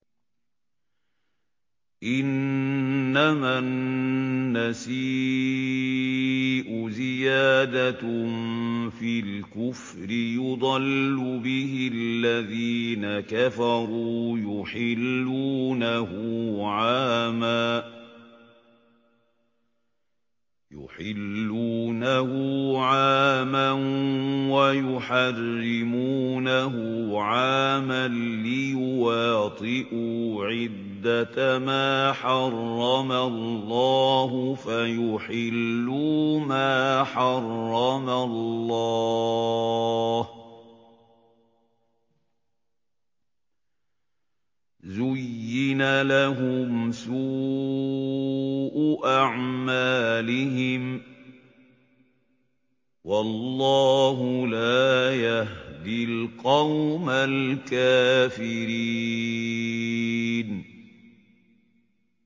إِنَّمَا النَّسِيءُ زِيَادَةٌ فِي الْكُفْرِ ۖ يُضَلُّ بِهِ الَّذِينَ كَفَرُوا يُحِلُّونَهُ عَامًا وَيُحَرِّمُونَهُ عَامًا لِّيُوَاطِئُوا عِدَّةَ مَا حَرَّمَ اللَّهُ فَيُحِلُّوا مَا حَرَّمَ اللَّهُ ۚ زُيِّنَ لَهُمْ سُوءُ أَعْمَالِهِمْ ۗ وَاللَّهُ لَا يَهْدِي الْقَوْمَ الْكَافِرِينَ